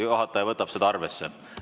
Juhataja võtab seda arvesse.